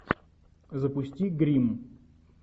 запусти гримм